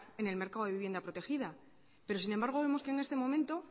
en el mercado de vivienda protegida pero sin embargo vemos que en este momento